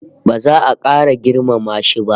Ba za a kara girmama shi ba